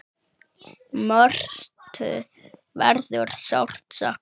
Mörthu verður sárt saknað.